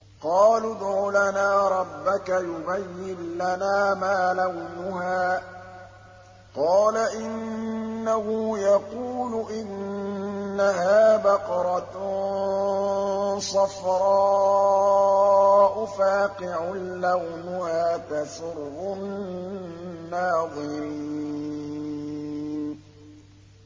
قَالُوا ادْعُ لَنَا رَبَّكَ يُبَيِّن لَّنَا مَا لَوْنُهَا ۚ قَالَ إِنَّهُ يَقُولُ إِنَّهَا بَقَرَةٌ صَفْرَاءُ فَاقِعٌ لَّوْنُهَا تَسُرُّ النَّاظِرِينَ